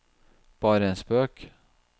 bare en spøk